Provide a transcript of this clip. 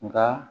Nka